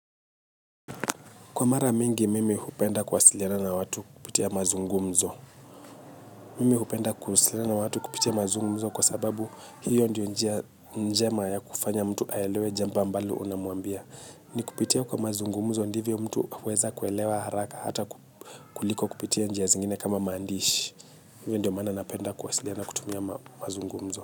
Kwa mara mingi, mimi hupenda kuwasiliana na watu kupitia mazungumzo. Mimi hupenda kuwasiliana na watu kupitia mazungumzo kwa sababu hiyo ndiyo njia njema ya kufanya mtu aelewe jambo ambalo unamwambia. Ni kupitia kwa mazungumzo ndivyo mtu huweza kuelewa haraka, hata kuliko kupitia njia zingine kama maandishi. Hiyo ndio maana napenda kuwasiliana kutumia mazungumzo.